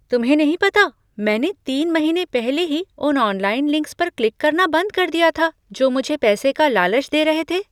तुम्हें नहीं पता मैंने तीन महीने पहले ही उन ऑनलाइन लिंक्स पर क्लिक करना बंद कर दिया थे जो मुझे पैसे का लालच दे रहे थे?